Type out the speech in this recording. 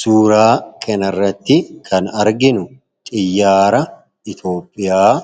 Suuraa kanarratti kan arginu xiyyaara Itoophiyaa